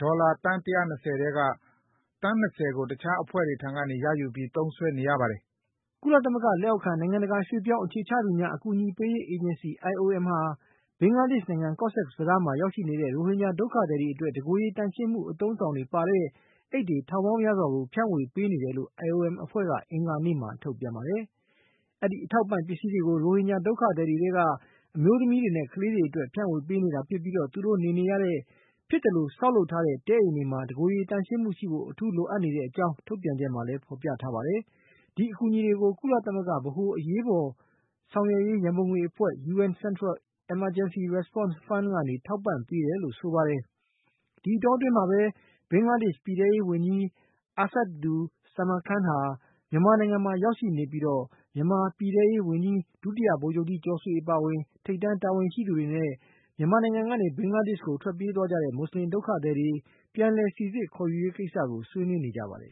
ဒေါ်လာ သန်း ၁၂၀ ထဲက သန်း ၂၀ ကို တခြား အဖွဲ့တွေထံကနေ ရယူပြီး သုံးစွဲနေရပါတယ်။ ” ကုလသမဂ္ဂ လက်အောက်ခံ နိုင်ငံတကာ ရွှေ့ပြောင်း အခြေချသူများ အကူအညီပေးရေး အေဂျင်စီ ဟာဘင်္ဂလားဒေ့ရှ်နိုင်ငံ ကော့ဆက်ဘဇားမှာ ရောက်ရှိနေတဲ့ ရိုဟင်ဂျာ ဒုက္ခသည်တွေ အတွက် တကိုယ်ရေ သန့်ရှင်းမှု အသုံးအဆောင်တွေ ပါတဲ့ အိတ်တွေ ထောင်ပေါင်းများစွာကို ဖြန့်ဝေပေးနေတယ်လို့ IOM အဖွဲ့က အင်္ဂါနေ့မှာ ထုတ်ပြန်ပါတယ်။ ဒီအထောက်အပံ့ ပစ္စည်းတွေကို ရိုဟင်ဂျာ ဒုက္ခသည်တွေထဲက အမျိုးသမီးတွေနဲ့ ကလေးတွေ အတွက် ဖြန့်ေ၀ ပေးနေတာ ဖြစ်ပြီး သူတို့ နေနေရတဲ့ ဖြစ်သလို ဆောက်လုပ်ထားတဲ့ တဲအိမ်တွေမှာ တကိုယ်ရေ သန့်ရှင်းမှုရှိဖို့ လိုအပ်ကြောင်း ထုတ်ပြန်ချက်မှာ ဖော်ပြထားပါတယ်။ ဒီအကူအညီတွေကို ကုလသမဂ္ဂ ဗဟို အရေးပေါ် ဆောင်ရွက်ရေး ရံပုံငွေအဖွဲ့ UN Central Emergency Response Fund က နေ ထောက်ပံ့ပေးတယ်လို့ ဆိုပါတယ်။ ဒီအတောအတွင်း ဘင်္ဂလားဒေ့ရှ် ပြည်ထဲရေးဝန်ကြီး အာဆတ်ဒူ ဇာမန်ခန် ဟာ မြန်မာနိုင်ငံမှာ ရောက်ရှိနေပြီး မြန်မာ ပြည်ထဲရေး ဝန်ကြီး ဒုတိယဗိုလ်ချုပ်ကြီး ကျော်ဆွေ အပါဝင် ထိပ်တန်း တာဝန်ရှိသူတွေနဲ့ မြန်မာနိုင်ငံကနေ ဘင်္ဂလားဒေ့ရှ်ကို ထွက်ပြေးသွားကြတဲ့ မွတ်ဆလင် ဒုက္ခသည်တွေ ပြန်လည်စိစစ် ခေါ်ယူရေး ကိစ္စ ဆွေးနွေးနေကြပါတယ်